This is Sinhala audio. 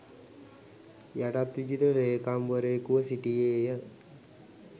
යටත්විජිත ලේකම්වරයෙකුව සිටියේය.